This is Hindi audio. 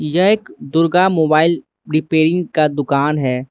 यह एक दुर्गा मोबाइल रिपेयरिंग का दुकान है।